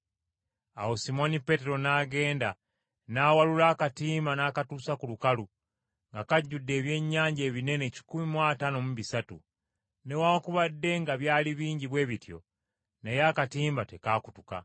Awo Simooni Peetero n’agenda n’awalula akatimba n’akatuusa ku lukalu, nga kajjudde ebyennyanja ebinene kikumi mu ataano mu bisatu. Newaakubadde nga byali bingi bwe bityo naye akatimba tekaakutuka.